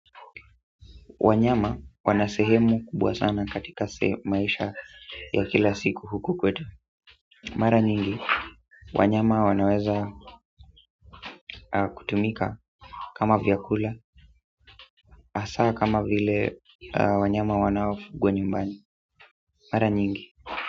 Wanyama wana sehemu kubwa sana katika sehemu maisha ya kila siku huku kwetu mara nyingi wanyama wanaweza kutumika kama vyakula hasa kama vile wanyama wanaofugwa nyumbani mara nyingi.